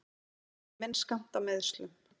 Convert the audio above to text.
Ég hef fengið minn skammt af meiðslum.